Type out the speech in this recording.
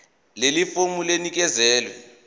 leli fomu linikezelwe